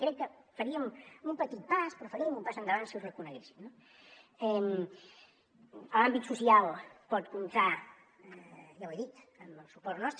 crec que faríem un petit pas però faríem un pas endavant si ho reconeguéssim no en l’àmbit social pot comptar ja ho he dit amb el suport nostre